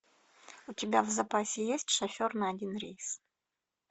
у тебя в запасе есть шофер на один рейс